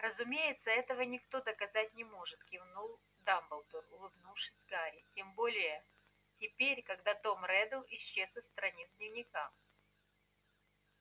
разумеется этого никто доказать не может кивнул дамблдор улыбнувшись гарри тем более теперь когда том реддл исчез со страниц дневника